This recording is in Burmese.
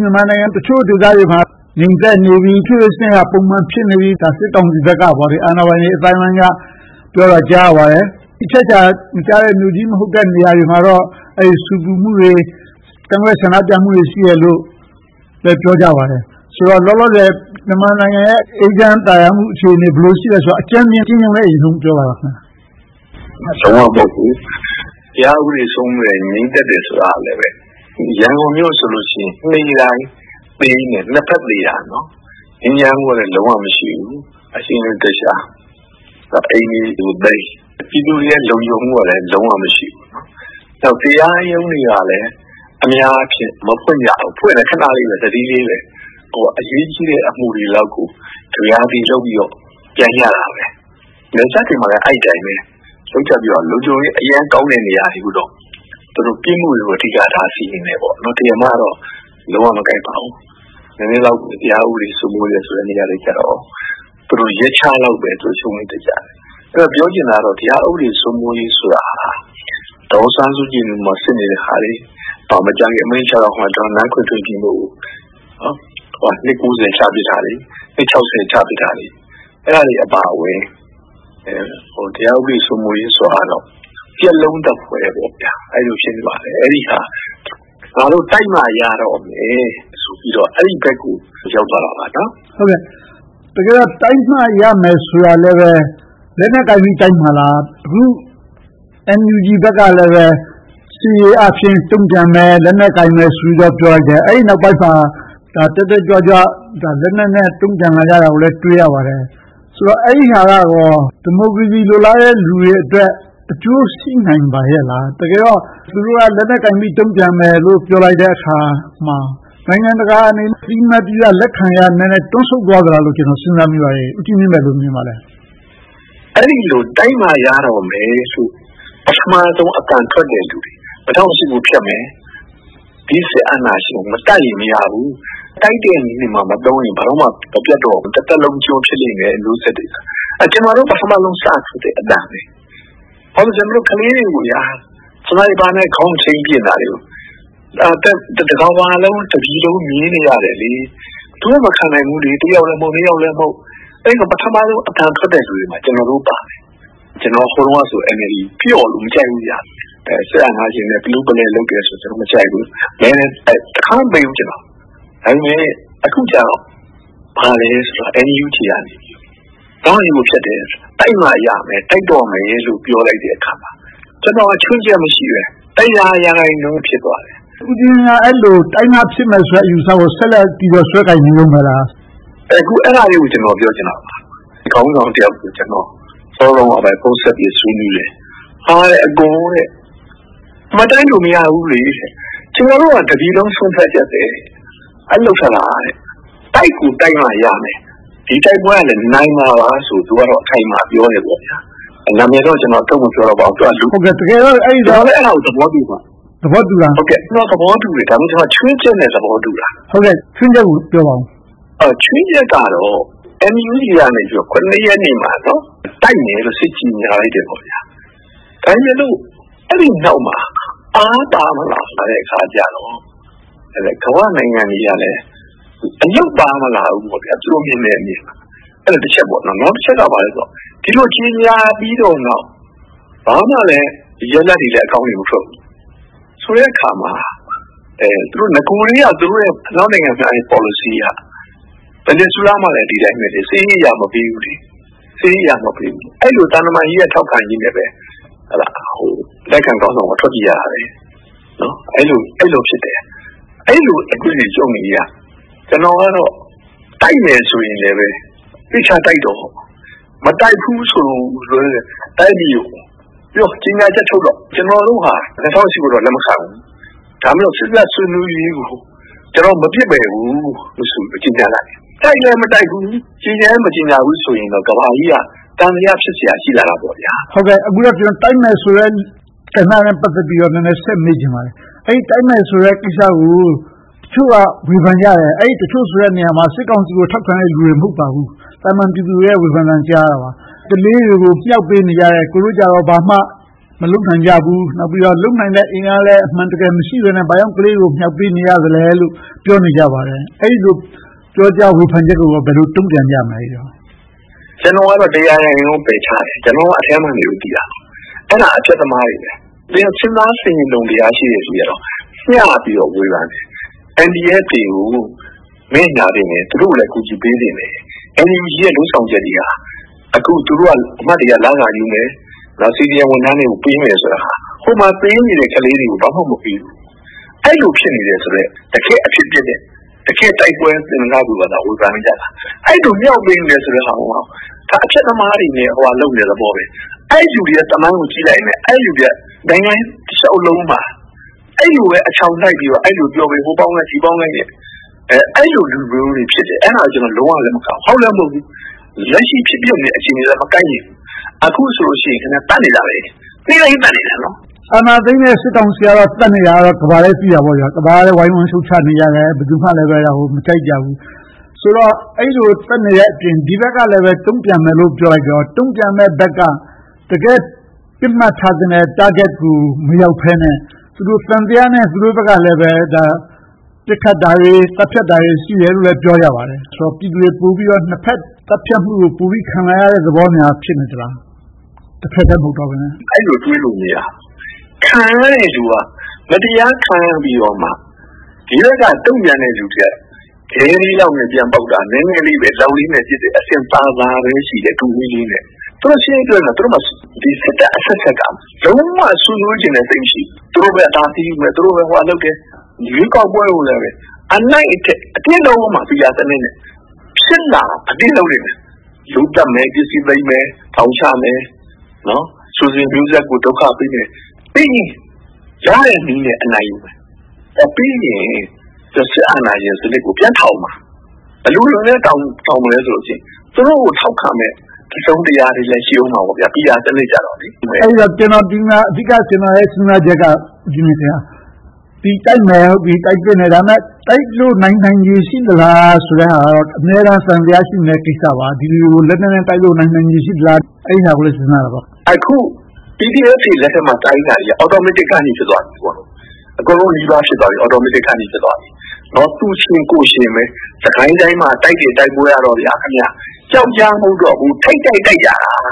မြန်မာနိုင်ငံတချို့ဒေသတွေမှာ ငြိမ်သက်နေပြီ၊ အုပ်ချုပ်ရေးစနစ်က ပုံမှန်ဖြစ်နေပြီလို့ စစ်ကောင်စီဘက်က၊ အာဏာပိုင်အသိုင်းအဝိုင်းဘက်က ပြောတာကို ကြားရပါတယ်။ အချက်အချာမကျတဲ့ မြို့ကြီးတွေမှာတော့ ဆူပူမှုတွေ၊ ကန့်ကွက်ဆန္ဒပြမှုတွေ ရှိနေသေးတယ်လို့လည်း ပြောကြပါတယ်။ ဆိုတော့ လောလောဆယ် မြန်မာနိုင်ငံရဲ့ အေးချမ်းသာယာမှု ဘယ်လိုရှိသလဲဆိုတာကို အကြမ်းမျဉ်း အရင်ဆုံးပြောပါ။ တရားဥပဒေစိုးမိုးတယ်၊ ငြိမ်သက်တယ်ဆိုတာကလဲ ရန်ကုန်မြို့ဆိုရင် နေ့တိုင်းသေကြတယ်။ နှစ်ဘက်သေကြတာ။ ငြိမ်းချမ်းမှုကလည်း တနေ့တခြား လုံးဝမရှိဘူး။ အိမ်တွေရဲ့ လုံခြုံမှုကလည်း လုံးဝမရှိဘူး။ တရားရုံးတွေကလည်း အများအားဖြင့် မဖွင့်ကြဘူး။ ဖွင့်လည်း ခဏလေးပဲ။ အရေးကြီးတဲ့ အမှုတွေလောက်ကိုသာ ကပျာကသီ လုပ်ကြပြီးတော့ ပြန်ကြတာပဲ။ နယ်စပ်တွေမှာလည်း အဲဒီအတိုင်းပဲ။ လုံခြုံရေးအရမ်းကောင်းတဲ့ နေရာတွေမှာတော့ ပြစ်မှုတွေကို အဓိကထား စီရင်ကြတယ်။ တရားမကတော့ လုံးဝမကိုင်ပါဘူး။ နည်းနည်းလေး တရားဥပဒေ စိုးမိုးတယ်ဆိုတဲ့ နေရာတွေကြတော့ ရက်ခြားလောက်ပဲ သူတို့ လုပ်ကြတယ်။ ပြောချင်တာကတော့ တရားဥပဒေ စိုးမိုးရေးဆိုတာ ဒေါ်အောင်ဆန်းစုကြည်ကို စစ်နေတဲ့ဟာတွေ၊ မကြာခင် အမိန့်ချတော့မယ် ဒေါ်နန်းခင်ထွေးမြင့်တို့ကို နှစ် ချပြစ်လိုက်တာတွေ။ နှစ် ချပြစ်တာတွေ၊ အဲဒါတွေ အပါအဝင် တရားဥပဒေ စိုးမိုးရေးဆိုတာကတော့ ပြတ်လုံးသဖွယ် အဲဒီလိုဖြစ်နေပါတယ်။ ငါတို့ တိုက်မှရတော့မယ်ဆိုပြီးတော့ အဲဒီဘက်ကို ရောက်သွားတာပါ။ တကယ်တော့ တိုက်မှရမယ်ဆိုတာကလဲ လက်နက်ကိုင်ပြီး တိုက်မလား။ အခု NUG ဘက်ကလည်း စစ်ရေးအားဖြင့် တုံ့ပြန်မယ်။ လက်နက်ကိုင်မယ်ဆိုပြီးတော့ ပြောနေတယ်။ အဲဒီနောက်ပိုင်းမှာ တက်တက်ကြွကြွ လက်နက်နဲ့ တုံ့ပြန်လာတာကိုလည်း တွေ့ရပါတယ်။ ဆိုတော့ အဲဒီဟာက ဒီမိုကရေစီ လိုလားတဲ့လူတွေအတွက် အကျိုးရှိနိုင်ပါရဲ့လား။ တကယ်တော့ သူတို့က လက်နက်ကိုင်ပြီးတော့ တုံ့ပြန်မယ်လို့ ပြောလိုက်တဲ့အခါမှာ နိုင်ငံတကာအနေနဲ့ အသိအမှတ်ပြုရ၊ လက်ခံရတာတွေ နည်းနည်းတွန့်ဆုတ်သွားသလို ကျနော် စဉ်းစားမိပါတယ်။ ဦးကြီးမြင့် ဘယ်လိုမြင်ပါသလဲ။ အဲဒီလို တိုက်မှရတော့မယ်ဆိုပြီးတော့ ပထမဦးဆုံး အသံထွက်တဲ့လူတွေ ၂၀၀၈ ကို ဖျက်မယ်။ အာဏာရှင်ကို မတိုက်ရင်မရဘူး တိုက်တဲ့နည်းမှမသုံးရင် ဘယ်လိုမှ မပျက်တော့ဘူး။ တသက်လုံး စစ်ကျွန်ဖြစ်လိမ့်မယ် မျိုးဆက်တွေက။ ကျနော်တို့ ပထမဦးဆုံး စထွက်တဲ့အသံပဲ။ ကျနော်တို့ ကလေးတွေကို စနိုက်ပါနဲ့ ခေါင်းချိန်းပစ်နေတာကို တကမ္ဘာလုံး၊ တပြည်လုံး မြင်နေရတယ်။ ဘယ်သူမှ မခံနိုင်ဘူး။ တယောက်လဲမဟုတ်၊ နှစ်ယောက်လဲမဟုတ် - အဲဒီလို ပထမဦးဆုံး အသံထွက်တဲ့လူတွေမှာ ကျနော်တို့ ပါတယ်။ ကျနော်တို့က NLD ပျော့လွန်းလို့ မကြိုက်ဘူး။ စစ်အာဏာရှင်နဲ့ ပလူးပလဲလုပ်တယ်ဆိုပြီး မကြိုက်ခဲ့ဘူး။ မဲလည်း တခါမှ မပေးခဲ့ဘူး။ ဒါပေမဲ့ အခုကြတော့ ဘာလဲဆိုတော့ NUG က တိုက်မှရမယ်၊ တိုက်တော့မယ်လို့ ပြောလိုက်တဲ့အခါမှာ ကျနော်က ခြွင်းချက်မရှိဘဲ တစ်ရာရာခိုင်နှုန်းအပြည့် ဖြစ်သွားတယ်။ ဦးကြီးမြင့်က အဲဒီလို တိုက်မှဖြစ်မယ်ဆိုတဲ့ အယူအဆကို ဆက်လက်ပြီးတော့ ဆွဲကိုင်နေတုန်းပဲလား။ အခု အဲဒါတွေကို ပြောချင်တာပါ။ ခေါင်းဆောင်တယောက်ကို စောစောတုန်းကပဲ ဖုန်းဆက်ပြီးတော့ ဆွေးနွေးတယ်။ ‘အကို မတိုက်လို့ မရဘူးလေ။ ကျနော်တို့က တပြည်လုံး ဆုံးဖြတ်ချက်ပဲ။’ အဲဒီလို ထွက်လာတယ်။ တိုက်ကိုတိုက်မှ ရမယ်။ ဒီတိုက်ပွဲက နိုင်မှာပါဆိုပြီးတော့ သူကတော့ အခိုင်အမာ ပြောတယ်။ နာမည်တော့ ကျနော် ထုတ်မပြောတော့ပါဘူး။ သူကလည်း အဲဒါကို သဘောတူပါတယ်။ ဒါပေမဲ့ ခြွင်းချက်နဲ့ သဘောတူတာ။ ခြွင်းချက်ကို ပြောပါအုံး။ ခြွင်းချက်ကတော့ NUG က ရက်နေ့မှာ တိုက်မယ်လို့ စစ်ကြေညာလိုက်တယ်။ ဒါပေမဲ့လို့ အဲဒီနောက်မှာ အားပါမလာတဲ့အခါကြတော့ ကမ္ဘာ့နိုင်ငံတွေကလည်း အလုပ်ပါမလာဘူးလို့ သူတို့ မြင်ကြတယ်။ အဲဒါက တစ်ချက်။ နောက်တစ်ချက်က ဘာလဲဆိုတော့ ဒီလိုကြေညာပြီးနောက် ဘာမှလဲ ရလဒ်ကောင်းတွေလည်း မထွက်ဘူးဆိုတဲ့အခါမှာ နဂိုကတည်းက အနောက်နိုင်ငံတွေရဲ့ ပေါ်လစီအရ အရင်အစိုးရမှာလည်း ဒီအတိုင်းပဲ စစ်ရေးအရ မပေးဘူး။ အဲဒီလို သံတမန်နည်းအရ ထောက်ခံမှုနဲ့ပဲ အတိုက်အခံခေါင်းဆောင်က ထွက်ပြေးရတာပဲ။ အဲဒီလိုဖြစ်တယ်။ အဲဒီလို အတွေးအကြုံတွေအရ ကျနော်ကတော့ တိုက်မယ်ဆိုရင်လဲ သေချာတိုက်တော့။ မတိုက်ဘူးဆိုရင်လဲ တိုင်းပြည်ကိုပြော ကြေညာချက်ထုတ်တော့ - ကျနော်တို့ဟာ ၂၀၀၈ ကိုတော့ လက်မခံဘူး။ ဒါပေမဲ့ စေ့စပ်ဆွေးနွေးရေးကို မပစ်ပယ်ဘူးလို့ ကြေညာလိုက်။ တိုက်လည်း မတိုက်ဘူး၊ ကြေညာလည်း မကြေညာဘူးဆိုရင်တော့ ကမ္ဘာကြီးက သံသယ ဖြစ်လာစရာ ရှိလာတာပေါ့။ အခုတော့ တိုက်မယ်ဆိုတဲ့ကဏ္ဍနဲ့ ပတ်သက်လို့ နည်းနည်းဆက်မေးချင်ပါတယ်။ တိုက်မယ်ဆိုတဲ့ကိစ္စကို တချို့က ဝေဖန်ကြတယ်။ တချို့ဆိုတဲ့နေရာမှာ စစ်ကောင်စီကို ထောက်ခံတဲ့လူတွေ မဟုတ်ဘူး။ သာမန်ပြည်သူတွေရဲ့ ဝေဖန်သံတွေကို ကြားရတာပါ။ ကလေးတွေကို မြှောက်ပေးနေကြတယ်။ သူတို့ကြတော့ ဘာမှမလုပ်နိုင်ကြဘူး။ နောက်ပြီးတော့ လုပ်နိုင်တဲ့ အင်အားလည်း အမှန်တကယ် မရှိဘဲနဲ့ ဘာကြောင့် ကလေးတွေကို မြှောက်ပေးနေရသလဲလို့ ပြောနေကြပါတယ်။ အဲဒီလို ပြောဆိုဝေဖန်ချက်ကို ဘယ်လို တုံ့ပြန်ကြမလဲ။ ကျနော်ကတော့ တစ်ရာရာခိုင်နှုန်း ပယ်ချတယ်။ ကျနော်က အထဲမှာနေလို့ သိတာ။ အဲဒါ အဖျက်သမားတွေပဲ။ စဉ်းစားဆင်ခြင်တုံတရား ရှိတယ်လူတွေကတော့ မျှပြီးတော့ ဝေဖန်တယ်။ NDF တွေကို ငဲ့ညှာသင့်တယ်။ သူတို့ကိုလည်း အကူအညီပေးသင့်တယ်။ NUG ရဲ့ လုပ်ဆောင်ချက်တွေက သူတို့က လစာယူမယ်။ CDM ဝန်ထမ်းတွေကို ပေးမယ်ဆိုတာ ဟိုမှာသေနေတဲ့ ကလေးတွေကို ဘာမှမပေးဘူး။ အဲဒီလို ဖြစ်နေတယ်ဆိုတဲ့ တကယ့်အဖြစ်အပျက်နဲ့ တကယ့်တိုက်ပွဲသူတွေသာ ဝေဖန်နေကြတာ။ အဲဒီလို မြှောက်ပေးနေတာကိုက အဖျက်သမားတွေနဲ့ ဟိုဟာလုပ်နေတဲ့သဘောပဲ။ အဲဒီလူတွေရဲ့ သမိုင်းကို ကြည့်လိုက်ရင်လဲ အဲဒီလူတွေက နိုင်ငံတလျှောက်လုံးမှာ အဲဒီလိုပဲ အချောင်နှိုက်ပြီးတော့ အဲဒီလိုပဲ ဟိုပေါင်းလိုက် ဒီပေါင်းလိုက်နဲ့နေတဲ့ လူမျိုးတွေ ဖြစ်တယ်။ အဲဒါကို ကျနော် လုံးဝလက်မခံဘူး။ ဟုတ်လဲမဟုတ်ဘူး။ လက်ရှိ ဖြစ်ပျက်နေတဲ့ အခြေအနေက တိုက်နေပြီ။ အခုဆိုရင် သတ်နေတာပဲ။ နေ့တိုင်းသတ်နေတာ။ အာဏာသိမ်းတဲ့ စစ်ကောင်စီကတော့ သတ်နေတာ ကမ္ဘာက သိတာပေါ့။ တကမ္ဘာလုံးကလည်း ဝိုင်းဝန်းရှုတ်ချနေကြတယ်။ ဘယ်သူမှလဲ ဒါကို မကြိုက်ကြဘူး။ ဆိုတော့ အဲဒီလို သတ်နေတဲ့အပြင် ဒီဘက်ကလဲ တုံ့ပြန်မယ်လို့ ပြောလိုက်တော့ တုံ့ပြန်တဲ့ဘက်က တကယ့်ပစ်မှတ်ထားတဲ့ target ကို မရောက်ဘဲနဲ့ သူတို့ဘက်ကလဲ သံသယနဲ့ ပစ်ခတ်တာတွေ၊ သတ်ဖြတ်တာတွေ ရှိတယ်လို့လဲ ပြောကြပါတယ်။ ပြည်သူတွေ နှစ်ဘက်သတ်ဖြတ်မှုကို ပိုပြီးတော့ ခံနေရတဲ့သဘောများ ဖြစ်နေသလား။ တဘက်တည်း မဟုတ်ဘဲနဲ့။ အဲဒီလို တွေးလို့မရဘူး။ ခံရတဲ့လူက မတရားခံရပြီတော့မှ ဒီဘက်က တုံ့ပြန်တဲ့လူတွေက ခဲနဲ့ပြန်ပေါက်တာ နည်းနည်းလေးပဲ။ လောက်လေးနဲ့ပစ်တဲ့ အဆင့်သာသာပဲ ရှိတယ်။ သူတို့မှာ စစ်တပ်အဆက်ဆက်က လုံးဝဆွေးနွေးလိုတာ မရှိဘူး။ သူတို့အသာစီးယူမယ်။ သူတို့ပဲလုပ်မယ်။ ရွေးကောက်ပွဲကိုလည်း အနိုင်အထက် အတင်းလုပ်အုံးမှာ PR စနစ်နဲ့။ ဖြစ်လာအောင် အတင်းလုပ်လိမ့်မယ်။ လူသတ်မယ်။ ပစ္စည်းသိမ်းမယ်။ ထောင်ချမယ်။ ဆွေစဉ်မျိုးဆက်ကို ဒုက္ခပေးမယ်။ အဲဒီလိုရတဲ့နည်းနဲ့ အနိုင်ယူမယ်။ ဆက်ပေးရင် စစ်အာဏာရှင်စနစ်ကို ပြန်ထောင်မှာ။ ဘယ်လိုမျိုးတောင် ထောင်မလဲဆိုရင် သူတို့ကို ထောက်ခံမယ့် ပါတီအုပ်စုတွေ - PR စနစ်ဆိုတော့။ ဒီမှာ ကျနော့်ရဲ့ အဓိကစဉ်းစားချက်က အခုတိုက်ကြမယ်။ တိုက်လို့နိုင်နိုင်တဲ့ အခြေအနေရှိသလားဆိုတာက အမြဲတမ်း သံသယ ရှိနေတဲ့ကိစ္စပါ။ ဒီလူတွေကို လက်နက်နဲ့ တိုက်လို့နိုင်ခြေရှိသလား။ အဲဒါကိုလဲ စဉ်းစားတာပါ။ အခု PDF တွေ လက်ထက်မှာ တိုက်နေတာက automatic ဖြစ်သွားပြီ။ အကုန်လုံးနီးပါး ဖြစ်သွားပြီ။ သူရှင်ကိုယ်ရှင်ပဲ။ စစ်ကိုင်းတိုင်းမှာ တိုက်တဲ့တိုက်ပွဲတွေက ပြောက်ကြား မဟုတ်တော့ဘူး။ ထိပ်တိုက်တိုက်ကြတာ။